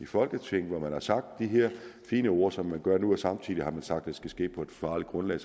folketinget hvor man har sagt de her fine ord som man gør nu og samtidig har sagt at det skal ske på et fagligt grundlag